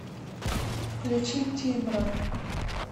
включи тимран